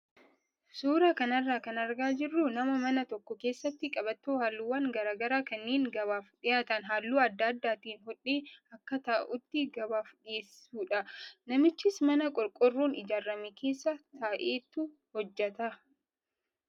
Suuraa kanarraa kan argaa jirru nama mana tokko keessatti qabattoo halluuwwan garaagaraa kanneen gabaaf dhiyaatan halluu adda addaatiin hodhee akka ta'utti gabaaf dhiyeessudha. Namichis mana qoroqoorroon ijaarame keessa taa'eetu hojjata.